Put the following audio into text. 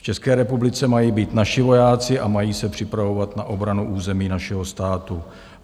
V České republice mají být naši vojáci a mají se připravovat na obranu území našeho státu.